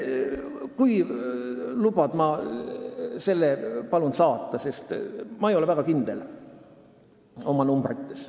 Kui lubad, siis ma palun selle sulle saata, sest ma ei ole arvudes väga kindel.